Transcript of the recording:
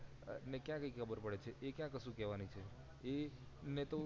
એને કયા કય ખબર પડે છે એ કયા કશું કરવાની એ ને તો